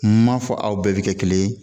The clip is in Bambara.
M'a fɔ aw bɛɛ bɛ kɛ kelen ye